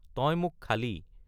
তই মোক খালি।